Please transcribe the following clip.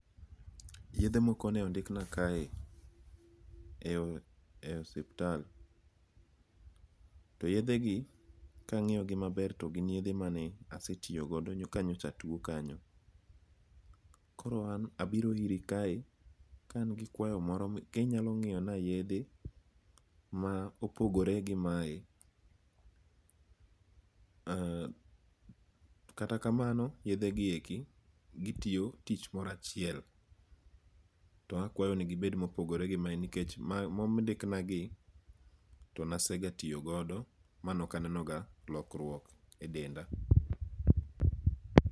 Yethe moko ne ondikna kae e ospital, to yethegi kangi'yogi maber to gin yethe mane asetiyogodo kanyocha atwo kanyo, koro an abiro iri kae ka an gi kwayo moro kinyalo ngi'yona yethe ma opogore gi mae, haa kata kamano yethegieki gitiyo tich moro achiel to akwayo ni gibed mopogore gi mae nikech mondikna gie to nasegatiyogodo ma nokanenoga lokruok e denda.